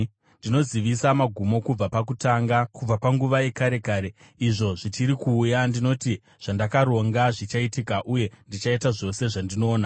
Ndinozivisa magumo kubva pakutanga, kubva panguva yekare kare, izvo zvichiri kuuya. Ndinoti: Zvandakaronga zvichaitika, uye ndichaita zvose zvandinoda.